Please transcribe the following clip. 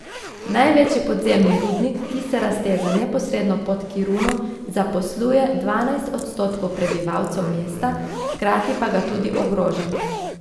Največji podzemni rudnik, ki se razteza neposredno pod Kiruno, zaposluje dvanajst odstotkov prebivalcev mesta, hkrati pa ga tudi ogroža.